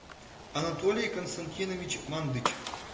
анатолий константинович мандыч